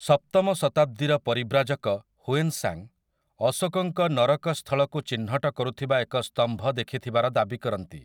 ସପ୍ତମ ଶତାବ୍ଦୀର ପରିବ୍ରାଜକ, ହୁଏନ୍ସାଙ୍ଗ୍ ଅଶୋକଙ୍କ ନରକ ସ୍ଥଳକୁ ଚିହ୍ନଟ କରୁଥିବା ଏକ ସ୍ତମ୍ଭ ଦେଖିଥିବାର ଦାବି କରନ୍ତି ।